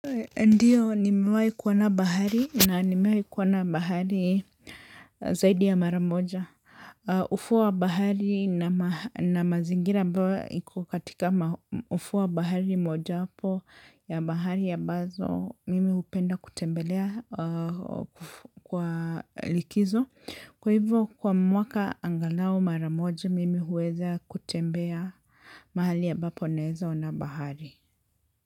Ndio, nimewahi kuona bahari na nimewahi kuona bahari zaidi ya mara moja. Ufuo wa bahari na mazingira ambayo iko katika ufuo wa bahari moja wapo ya bahari ambazo, mimi hupenda kutembelea kwa likizo. Kwa hivyo, kwa mwaka angalau mara moja, mimi huweza kutembea mahali ambapo naeza ona bahari.